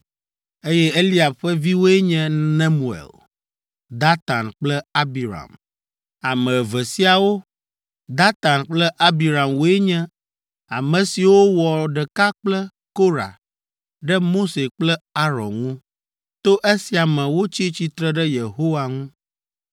eye Eliab ƒe viwoe nye Nemuel, Datan kple Abiram. Ame eve siawo, Datan kple Abiram woe nye ame siwo wɔ ɖeka kple Korah ɖe Mose kple Aron ŋu, to esia me wotsi tsitre ɖe Yehowa ŋu.